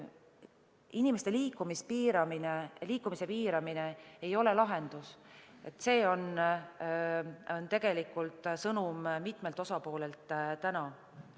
Inimeste liikumise piiramine ei ole lahendus, see on tegelikult mitmelt osapoolelt täna saadud sõnum.